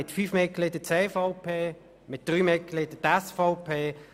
Mit fünf Mitgliedern folgt die CVP und mit drei die SVP.